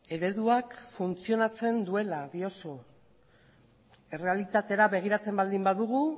ereduak funtzionatzen duela diozu errealitatera begiratzen baldin badugu